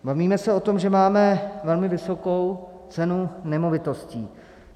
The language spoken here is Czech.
Bavíme se o tom, že máme velmi vysokou cenu nemovitostí.